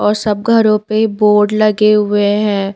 और सब घरों पे बोर्ड लगे हुए हैं।